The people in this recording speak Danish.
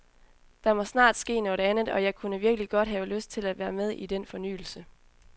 Der må snart ske noget andet, og jeg kunne virkelig godt have lyst til at være med i den fornyelse.